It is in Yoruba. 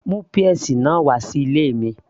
mú peas náà wà sí ilé mi